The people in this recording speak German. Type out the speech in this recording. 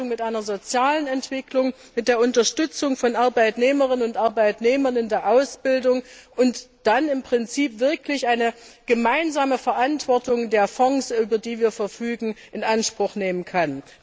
mit einer sozialen Entwicklung, mit der Unterstützung von Arbeitnehmerinnen und Arbeitnehmern in der Ausbildung, und dann im Prinzip wirklich eine gemeinsame Verantwortung der Fonds, über die wir verfügen, in Anspruch nehmen kann.